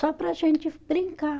Só para a gente brincar.